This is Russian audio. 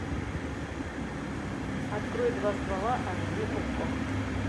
открой два ствола аш ди окко